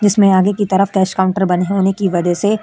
जिसमें आगे की तरफ कैश काउंटर बने होने की वजह से --